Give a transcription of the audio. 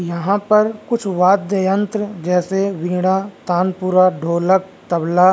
यहां पर कुछ वाद्ययंत्र जैसे वीणा तानपुरा ढोलक तबला।